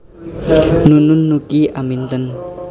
Nunun Nuki Aminten